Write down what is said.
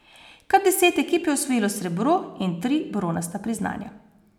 Kar deset ekip je osvojilo srebro in tri bronasta priznanja.